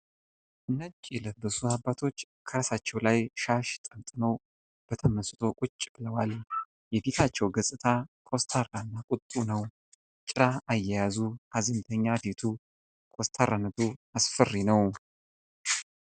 ነጭ የለበሱ አባቶች ከራሳቸዉ ላይ ሻሽ ጠምጥመዉ በተመስጦ ቁጭ ብለዋል። የፊታቸዉ ገፅታ ኮስታራ እና ቁጡ ነዉ። ጭራ አያያዙ፣ ሀዘንተኛ ፊቱ ፣ ኮስታራነቱ አስፈሪ ነዉ።